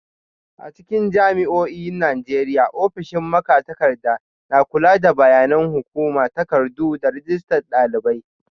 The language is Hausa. A cikin jami'o'in Najeriya, ofishin magatakarda na kula da bayanan hukuma, takardu, da rajistar dalibai.